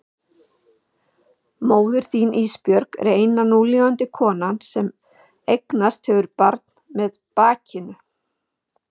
Móðir þín Ísbjörg er eina núlifandi konan sem eignast hefur barn með bakinu.